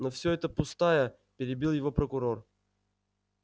но всё это пустая перебил его прокурор